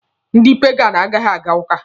Ndị paganụ anaghị aga ụka.